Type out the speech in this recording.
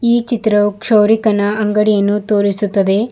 ಈ ಚಿತ್ರವು ಕ್ಷೌರಿಕನ ಅಂಗಡಿಯನ್ನು ತೋರಿಸುತ್ತದೆ.